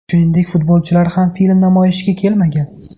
Shuningdek futbolchilar ham film namoyishiga kelmagan.